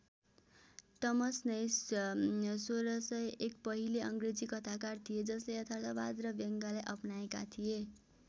टमस Nashe १६०१ पहिले अङ्ग्रेजी कथाकार थिए जसले यथार्थवाद र व्यङ्गलाई अपनाएका थिए।